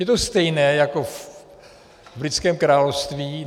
Je to stejné jako v britském království.